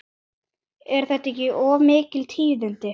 Eru þetta ekki mikil tíðindi?